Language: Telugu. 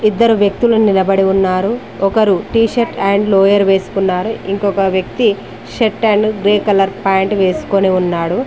ఇద్దరు వ్యక్తులు నిలబడి ఉన్నారు ఒకరు టీ షర్ట్ అండ్ లోయర్ వేసుకున్నారు ఇంకొక వ్యక్తి shirt and grey colour pant వేసుకొని ఉన్నాడు.